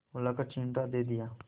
बुलाकर चिमटा दे दिया